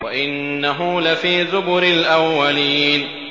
وَإِنَّهُ لَفِي زُبُرِ الْأَوَّلِينَ